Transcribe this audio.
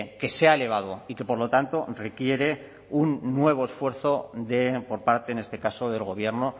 que se ha elevado y que por lo tanto requiere un nuevo esfuerzo de por parte en este caso del gobierno